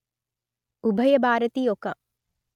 ఉభయ భారతి ఒక